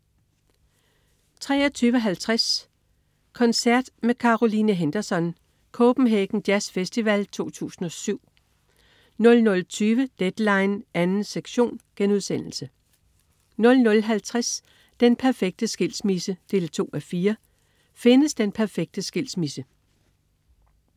23.50 Koncert med Caroline Henderson. Copenhagen Jazzfestival 2007 00.20 Deadline 2. sektion* 00.50 Den perfekte skilsmisse 2:4. Findes den perfekte skilsmisse?